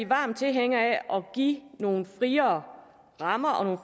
varme tilhængere af at give nogle friere rammer og nogle